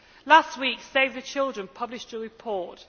Last week, Save the Children published a report.